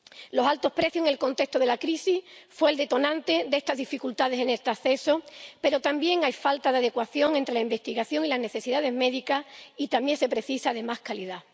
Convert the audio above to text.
Los altos precios en el contexto de la crisis fueron el detonante de estas dificultades en el acceso, pero también hay falta de adecuación entre la investigación y las necesidades médicas, y también se precisa de más calidad.